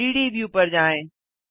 3 D view पर जाएँ